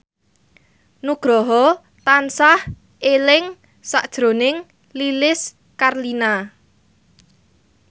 Nugroho tansah eling sakjroning Lilis Karlina